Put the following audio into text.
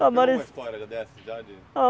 Tem alguma história dessa já de?